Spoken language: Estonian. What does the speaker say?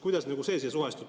Kuidas see siia suhestub?